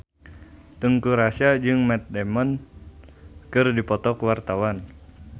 Teuku Rassya jeung Matt Damon keur dipoto ku wartawan